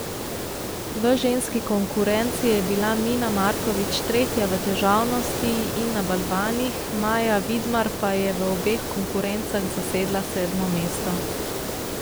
V ženski konkurenci je bila Mina Markovič tretja v težavnosti in na balvanih, Maja Vidmar pa je v obeh konkurencah zasedla sedmo mesto.